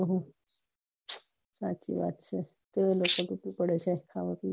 હમ સાચી વાત છે